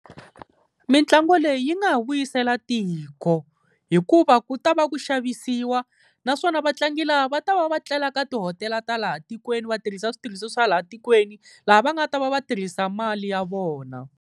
Mitlangu leyi yi nga ha vuyisela tiko, hikuva ku ta va ku xavisiwa naswona vatlangi lava va ta va va tlela ka tihotela ta laha tikweni vatirhisa switirhisiwa swa laha tikweni, laha va nga ta va va tirhisa mali ya vona.